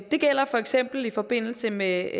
det gælder for eksempel i forbindelse med